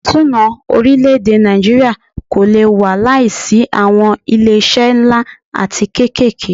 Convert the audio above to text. Ètò ìṣúná orílẹ̀-èdè Nàìjíríà kò lé wà láìsí awọn ilé iṣé nlá atí kékèké.